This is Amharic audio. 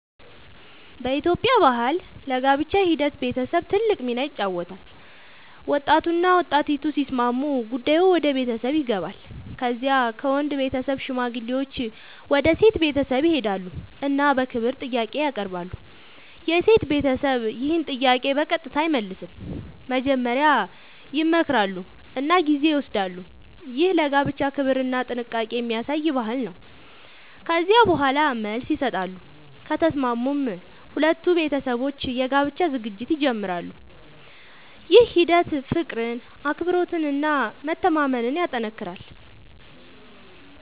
በኢትዮጵያ ባህል ለጋብቻ ሂደት ቤተሰብ ትልቅ ሚና ይጫወታል። ወጣቱና ወጣቲቱ ሲስማሙ ጉዳዩ ወደ ቤተሰብ ይገባል። ከዚያ ከወንድ ቤተሰብ ሽማግሌዎች ወደ ሴት ቤተሰብ ይሄዳሉ እና በክብር ጥያቄ ያቀርባሉ። የሴት ቤተሰብ ይህን ጥያቄ በቀጥታ አይመልስም፤ መጀመሪያ ይመክራሉ እና ጊዜ ይወስዳሉ። ይህ ለጋብቻ ክብርና ጥንቃቄ የሚያሳይ ባህል ነው። ከዚያ በኋላ መልስ ይሰጣሉ፤ ከተስማሙም ሁለቱ ቤተሰቦች የጋብቻ ዝግጅት ይጀምራሉ። ይህ ሂደት ፍቅርን፣ አክብሮትን እና መተማመንን ያጠናክራል።